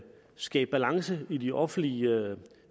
skabe balance i de offentlige